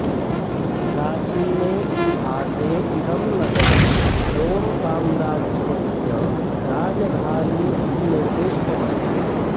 प्राचीने इतिहासे इदं नगरं रोम्साम्राज्यस्य राजधानी इति निर्दिष्टमस्ति